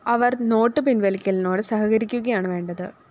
അവര്‍ നോട്ട്‌ പിന്‍ലിക്കലിനോട് സഹകരിക്കുകയാണ് വേണ്ടത്